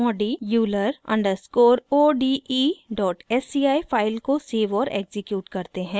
modi euler underscore o d e dot sci file को save और execute करते हैं